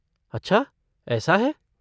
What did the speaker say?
अच्छा ऐसा है?